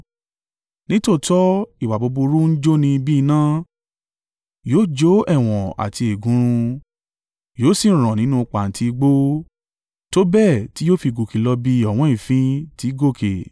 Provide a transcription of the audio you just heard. Nítòótọ́ ìwà búburú ń jóni bí iná, yóò jó ẹ̀wọ̀n àti ẹ̀gún run, yóò sì rán nínú pàǹtí igbó, tó bẹ́ẹ̀ tí yóò fi gòkè lọ bí ọ̀wọ́n èéfín ti í gòkè.